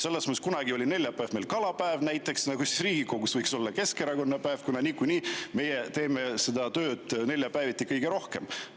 Selles mõttes, et kunagi oli neljapäev meil kalapäev, no siis võiks Riigikogus olla Keskerakonna päev, kuna niikuinii meie teeme seda tööd neljapäeviti kõige rohkem.